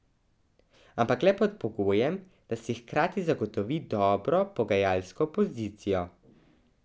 Ampak le pod pogojem, da si hkrati zagotovi dobro pogajalsko pozicijo.